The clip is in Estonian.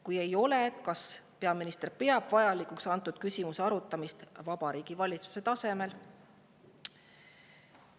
Kui ei ole, siis kas peaminister peab vajalikuks antud küsimuse arutamist Vabariigi Valitsuse tasemel?